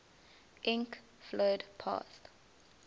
ink flowed past